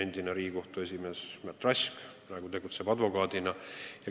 Endine Riigikohtu esimees Märt Rask tegutseb advokaadina.